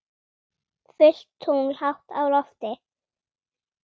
Fullt tungl hátt á lofti.